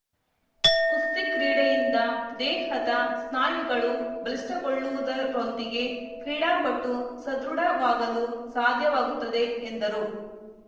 ಕುಸ್ತಿ ಕ್ರೀಡೆಯಿಂದ ದೇಹದ ಸ್ನಾಯುಗಳು ಬಲಿಷ್ಠಗೊಳ್ಳುವುದರೊಂದಿಗೆ ಕ್ರೀಡಾಪಟು ಸದೃಢವಾಗಲು ಸಾಧ್ಯವಾಗುತ್ತದೆ ಎಂದರು